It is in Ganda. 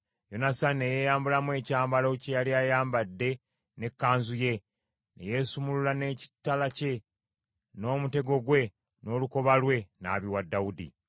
Yonasaani ne yeeyambulamu ekyambalo kye yali ayambadde n’ekanzu ye, ne yeesumulula n’ekitala kye, n’omutego gwe n’olukoba lwe, n’abiwa Dawudi.